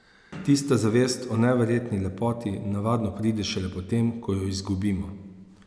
Tista zavest o neverjetni lepoti navadno pride šele potem, ko jo izgubimo.